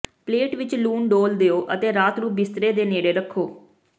plate ਵਿਚ ਲੂਣ ਡੋਲ੍ਹ ਦਿਓ ਅਤੇ ਰਾਤ ਨੂੰ ਬਿਸਤਰਾ ਦੇ ਨੇੜੇ ਰੱਖੋ